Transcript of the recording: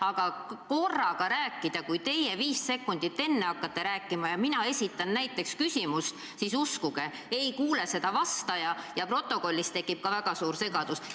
Aga kui korraga rääkida, nii et teie viis sekundit enne sekkute ja näiteks mina esitan küsimust – uskuge, vastaja ei kuule küsimust ja stenogrammis tekib ka suur segadus.